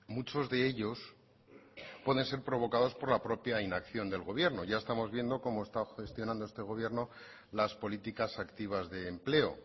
muchos de ellos pueden ser provocados por la propia inacción del gobierno ya estamos viendo cómo está gestionando este gobierno las políticas activas de empleo